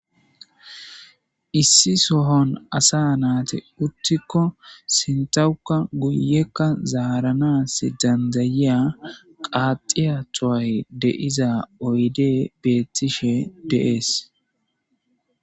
issi sohon asa naate uttikko sintawuka guyekka zaaranas dandayiya qaaxiya toay de7iza oyde beettishe deees